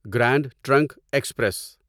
grand Trunk express